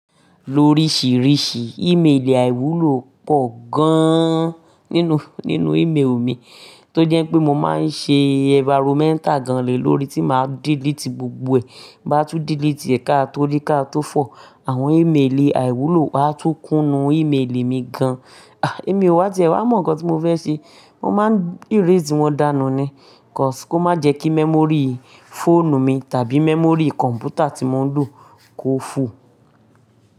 Lóríṣìíríṣìí ìméèlì àìwúlò pọ̀ gaaán nínú, nínú ìméèlì mi tó jẹ́ pé mo máa ń ṣe environmental gan-an lè lórí tí màá delete gbogbo ẹ̀. Tí ń bá tú delete ẹ ká tó rí, ká tó fọ̀, àwọn íméèlì àìwúlò á tún kún nu íméèlì mi gan-an. Èmi o ti ẹ wá mó ǹkan tí mo fẹ́ ṣe. Mo máa ń erase wọn dànù ni, cause kó má jẹ́ kí memory fóònù mi tàbí memory kọ̀m̀pútà tí mo ń lò kó full.